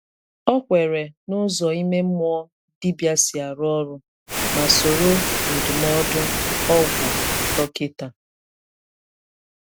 Ọ kwèré n’ụzọ ime mmụọ dibịa si arụ ọrụ, ma sórò ndụmọdụ ọgwụ dọkịta.